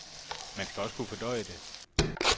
Man skal også kunne fordøje det.